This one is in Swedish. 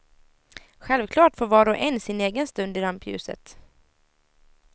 Självklart får var och en sin egen stund i rampljuset.